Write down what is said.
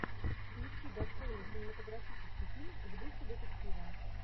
включи достойный кинематографический фильм в духе детектива